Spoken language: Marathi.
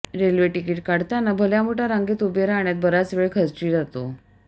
रेल्वे तिकीट काढताना भल्या मोठ्या रांगेत उभे राहण्यात बराच वेळ खर्ची जातो